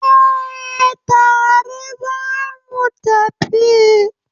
Eh, tare zamu tafi